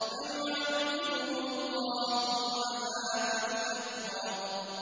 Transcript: فَيُعَذِّبُهُ اللَّهُ الْعَذَابَ الْأَكْبَرَ